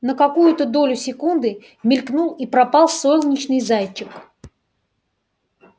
на какую-то долю секунды мелькнул и пропал солнечный зайчик